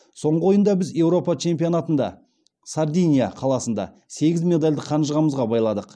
соңғы ойында біз еуропа чемпионатында сардиния қаласында сегіз медальді қанжығамызға байладық